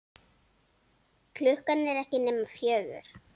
Klukkan er ekki nema fjögur.